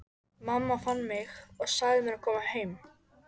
Mamma fann mig og sagði mér að koma heim.